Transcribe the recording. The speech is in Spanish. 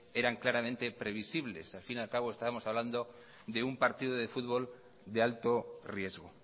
eran claramente previsibles al fin y al cabo estábamos hablando de un partido de fútbol de alto riesgo